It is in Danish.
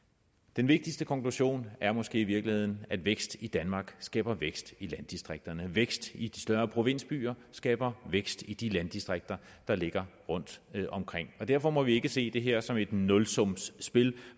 den vigtigste konklusion er måske i virkeligheden at vækst i danmark skaber vækst i landdistrikterne at vækst i de større provinsbyer skaber vækst i de landdistrikter der ligger rundtomkring derfor må vi ikke se det her som et nulsumsspil